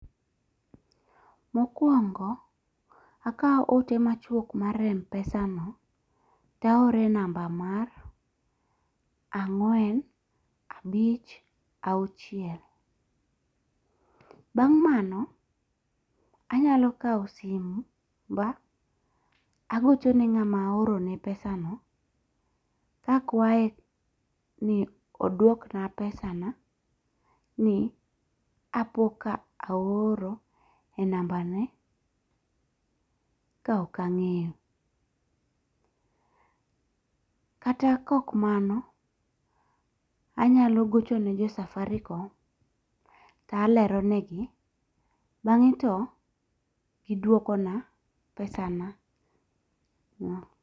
Mokwongo akawo ote machuok mar Mpesa no to aoro e namba mar ang'wen abich auchiel. Bang' mano anyalo kaw simba agochone ng'ama aorone pesano kakwaye ni odwok na pesana ni apoka aoro e namba ne ka ok ang'eyo. Kata kok mano, anyalo gocho ne jo Safaricom to alero negi bang'e to gidwoko na pesa na no.